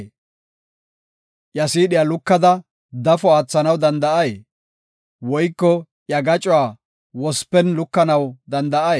Iya siidhiya lukada dafo aathanaw danda7ay? Woyko iya gacuwa wospen lukanaw danda7ay?